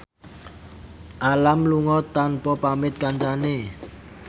Alam lunga tanpa pamit kancane